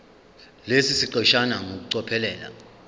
lesi siqeshana ngokucophelela